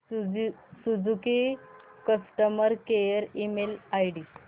Suzuki customer care email ID